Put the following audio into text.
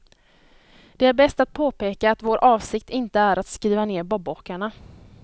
Det är bäst att påpeka att vår avsikt inte är att skriva ner bobåkarna.